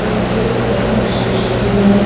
এই তো একবার সরস্বতী মায়ের --